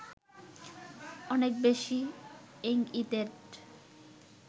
অনেক বেশি এঙ্ইটেড